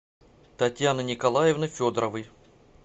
татьяны николаевны федоровой